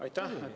Aitäh!